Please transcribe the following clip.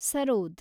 sarod